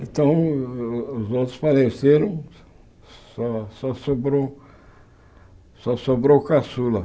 Então, os outros faleceram, só só sobrou só sobrou o caçula.